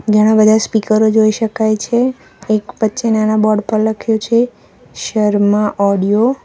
ઘણા બધા સ્પીકરો જોઈ શકાય છે કંઈક વચ્ચે નાના બોર્ડ પર લખ્યું છે શર્મા ઓડિયો .